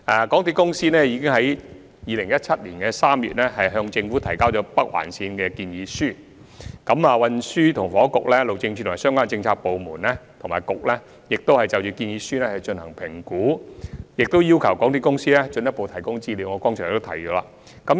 港鐵公司已於2017年3月向政府提交有關北環線的建議書，而正如我剛才所說，運房局、路政署及相關政策局/部門已就建議書進行評估，並要求港鐵公司進一步提供資料。